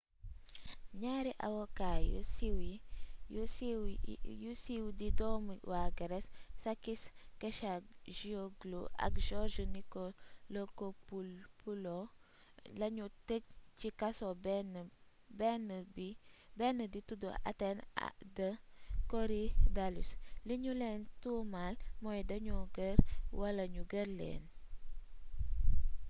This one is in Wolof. ñaari avocet yu siiw di doomi waa grece sakis kechagioglou ak george nikolakopoulos lañu tëj ci kaso benn di tuddu athènes de korydallus li ñu leen tuumal mooy dañu ger wala ñu ger leen